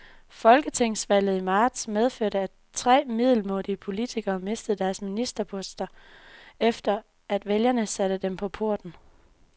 Folketingsvalget i marts medførte, at tre middelmådige politikere mistede deres ministerposter, efter at vælgerne satte dem på porten.